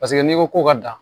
Paseke n'i ko ko ka dan